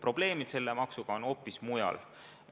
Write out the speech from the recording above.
Selle maksuga seotud probleemid on hoopis mujal.